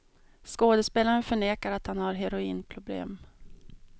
Skådespelaren förnekar att han har heroinproblem.